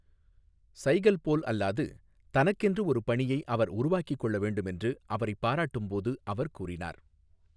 சைகல் போல் அல்லாது தனக்கென்று ஒரு பணியை அவர் உருவாக்கிக் கொள்ள வேண்டும் என்று அவரைப் பாராட்டும்போது அவர் கூறினார்.